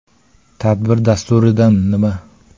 Tadbir dasturidan “Nima?